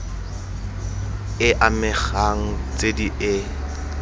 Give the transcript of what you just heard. e amegang tse di e